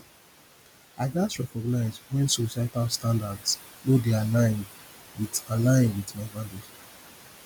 i gats recognize when societal standards no dey align with align with my values